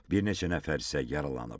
Bir neçə nəfər isə yaralanıb.